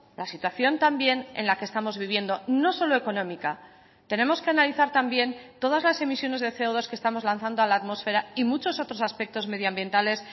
la situación también en la que estamos viviendo no solo económica tenemos que analizar también todas las emisiones de ce o dos que estamos lanzando a la atmosfera y muchos otros aspectos medioambientales